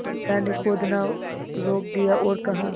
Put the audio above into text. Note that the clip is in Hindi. बिन्दा ने खोदना रोक दिया और कहा